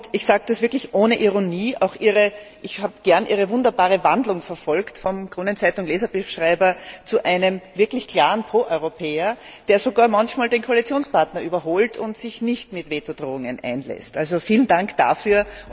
Ich sage das wirklich ohne Ironie Ich habe gern Ihre wunderbare Wandlung verfolgt vom Kronenzeitung Leserbriefschreiber zu einem wirklich klaren Pro Europäer, der sogar manchmal den Koalitionspartner überholt und sich nicht auf Vetodrohungen einlässt. Vielen Dank dafür.